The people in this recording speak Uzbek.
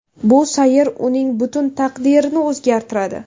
Bu sayr uning butun taqdirini o‘zgartiradi.